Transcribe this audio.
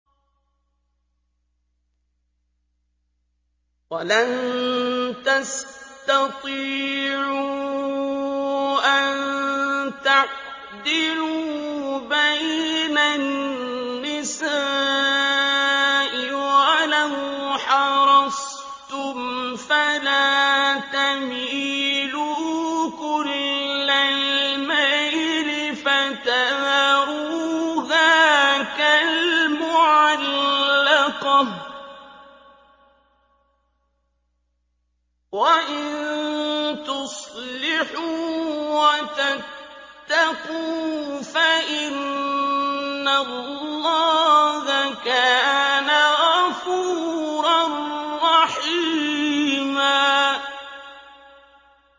وَلَن تَسْتَطِيعُوا أَن تَعْدِلُوا بَيْنَ النِّسَاءِ وَلَوْ حَرَصْتُمْ ۖ فَلَا تَمِيلُوا كُلَّ الْمَيْلِ فَتَذَرُوهَا كَالْمُعَلَّقَةِ ۚ وَإِن تُصْلِحُوا وَتَتَّقُوا فَإِنَّ اللَّهَ كَانَ غَفُورًا رَّحِيمًا